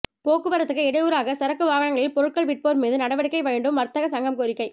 போக்குவரத்துக்கு இடையூறாக சரக்கு வாகனங்களில் பொருட்கள் விற்போர் மீது நடவடிக்கை வேண்டும் வர்த்தக சங்கம் கோரிக்கை